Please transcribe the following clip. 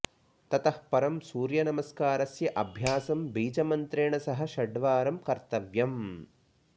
ततः परं सूर्यनमस्कारस्य अभ्यासं बीजमन्त्रेण सह षडवारं कर्तव्यम्